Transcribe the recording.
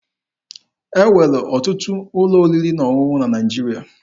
E nwere ọtụtụ ụlọ oriri na ọṅụṅụ na Naịjirịa.